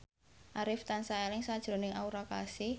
Arif tansah eling sakjroning Aura Kasih